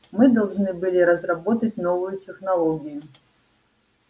мы должны были разработать новую технологию